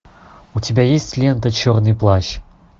у тебя есть лента черный плащ